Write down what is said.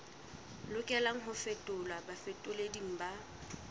lokelang ho fetolelwa bafetoleding ba